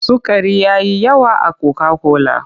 Sukari ya yi yawa a koka-kola.